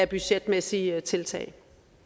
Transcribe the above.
budgetmæssige tiltag